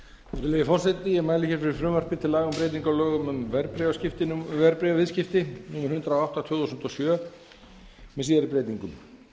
virðulegi forseti ég mæli fyrir frumvarpi til laga um breyting á lögum um verðbréfaviðskipti númer hundrað og átta tvö þúsund og sjö með síðari breytingum